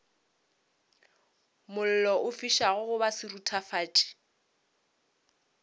mollo o fišago goba seruthufatši